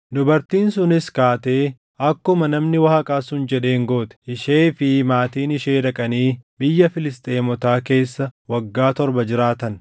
Dubartiin sunis kaatee akkuma namni Waaqaa sun jedheen goote. Ishee fi maatiin ishee dhaqanii biyya Filisxeemotaa keessa waggaa torba jiraatan.